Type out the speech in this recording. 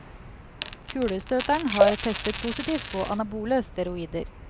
Kulestøteren har testet positivt på anabole steroider.